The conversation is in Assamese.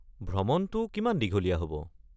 ভ্ৰমণটো কিমান দীঘলীয়া হ’ব?